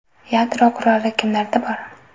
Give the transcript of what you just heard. Yadro quroli kimlarda bor?